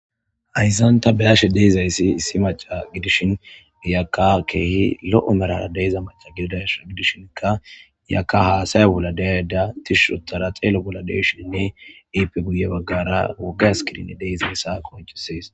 Hyzanta byashe deyzayssi issi maca gidishin giyakka keehi lo7o merara deyza maca gididasha gidishinkka yaka haasaya bolla deyada tisho tara teelo bolla deshinnne iipe guye baggara woga skirin deyzayssa konchisees.